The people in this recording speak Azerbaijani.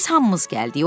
Biz hamımız gəldik.